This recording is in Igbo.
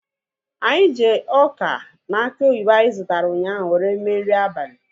Anyị ji ọka na aki oyibo anyị zụtara ụnyaahụ were mee nri abalị